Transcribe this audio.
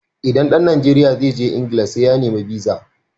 Idan ɗan Najeriya zai je England sai ya nemi biza (visa).